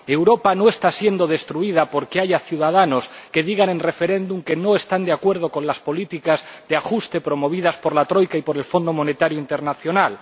Europa no está siendo destruida porque haya ciudadanos que digan en referéndum que no están de acuerdo con las políticas de ajuste promovidas por la Troika y por el Fondo Monetario Internacional.